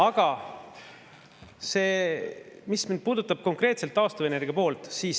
Aga nüüd see, mis puudutab konkreetselt taastuvenergiat.